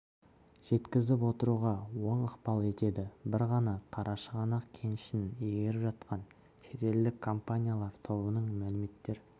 жеткізіп отыруға оң ықпал етеді бір ғана қарашығанақ кенішін игеріп жатқан шетелдік компаниялар тобының мәліметтер